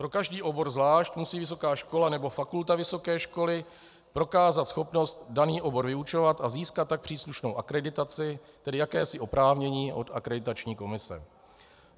Pro každý obor zvlášť musí vysoká škola nebo fakulta vysoké školy prokázat schopnost daný obor vyučovat a získat tak příslušnou akreditaci, tedy jakési oprávnění, od Akreditační komise.